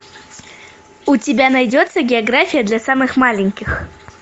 у тебя найдется география для самых маленьких